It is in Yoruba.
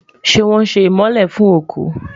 ṣé wón sé imole fún oku?